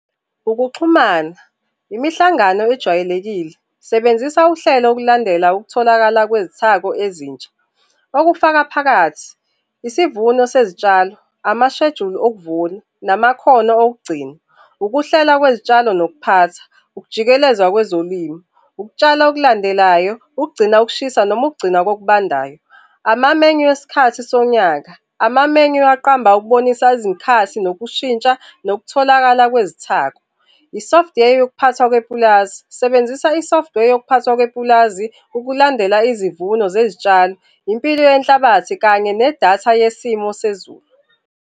Ukuxhumana, imihlangano ejwayelekile, sebenzisa uhlelo ukulandela ukutholakala kwezithako ezintsha. Okufaka phakathi, isivuno sezitshalo, amashejuli okuvuna, namakhono okugcina. Ukuhlela kwezitshalo nokuphatha, ukujikeleza kwezolimo, ukutshala okulandelayo, ukugcina ukushisa noma ukugcina nokubandayo. Ama-menu esikhathi sonyaka, ama-menu aqamba ukubonisa izikhathi, nokushintsha, nokutholakala kwezithako. I-software yokuphathwa kwepulazi, sebenzisa i-software yokuphathwa kwepulazi, ukulandela izivuno zezitshalo, impilo yenhlabathi kanye nedatha yesimo sezulu.